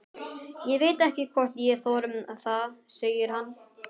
Ég veit ekki hvort ég þori það, segir hann.